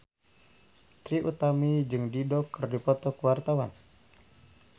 Trie Utami jeung Dido keur dipoto ku wartawan